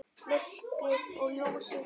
Myrkrið og ljósið.